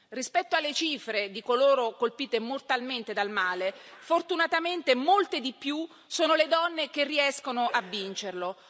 Rispetto alle cifre di coloro colpite mortalmente dal male, fortunatamente molte di più sono le donne che riescono a vincerlo.